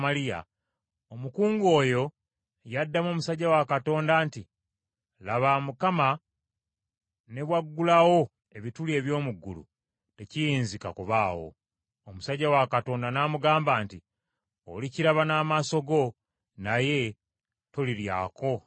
omukungu oyo, yaddamu omusajja wa Katonda nti, “Laba, Mukama ne bwaggulawo ebituli eby’omu ggulu, tekiyinzika kubaawo.” Omusajja wa Katonda n’amugamba nti, “Olikiraba n’amaaso go, naye toliryako na kimu.”